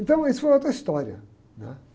Então, isso foi outra história, né?